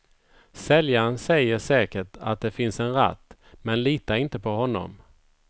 Säljaren säger säkert att det finns en ratt, men lita inte på honom.